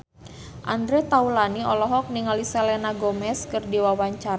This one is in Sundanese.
Andre Taulany olohok ningali Selena Gomez keur diwawancara